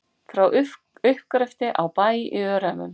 Frá uppgreftri á Bæ í Öræfum.